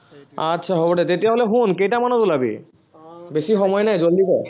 আচ্ছা হব দে, তেতিয়া হলে শুন কেইটামানত ওলাবি, বেছি সময় নাই, জলদি কৰ